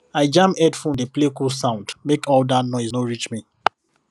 i jam headphone dey play cool sound make all that noise no reach me